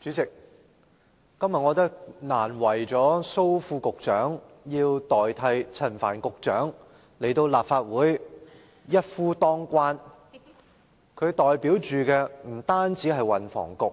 主席，今天難為了蘇副局長要代替陳帆局長來立法會"一夫當關"，不但要代表運輸及房屋